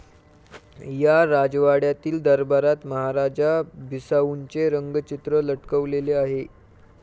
या राजवाड्यातील दरबारात महाराजा बिसाऊंचे रंगचित्र लटकवलेले आहे.